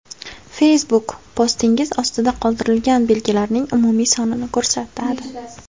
Facebook postingiz ostida qoldirilgan belgilarning umumiy sonini ko‘rsatadi.